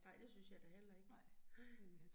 Nej, det synes jeg da heller ikke, nej